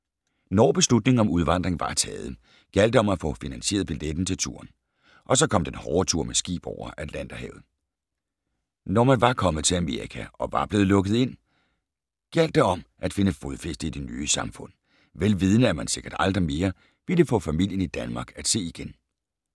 Når beslutningen om udvandring var taget, gjaldt det om at få finansieret billetten til turen. Og så kom den hårde tur med skib over Atlanterhavet. Når man var kommet til Amerika og var blevet lukket ind, gjaldt det om at finde fodfæste i det nye samfund, vel vidende at man sikkert aldrig mere ville få familien i Danmark at se igen.